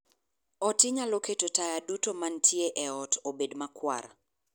ot inyalo keto taya duto mantie e ot obed makwar